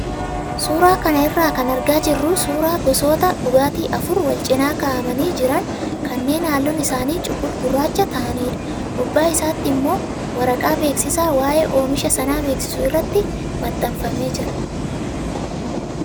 Suuraa kana irraa kan argaa jirru suuraa gosoota dhugaatii afur wal cinaa kaa'amanii jiran kanneen halluun isaanii cuqul-gurraacha ta'anidha. Gubbaa isaatti immoo waraqaa beeksisaa waayee oomisha sanaa beeksisu irratti maxxanfamee jira.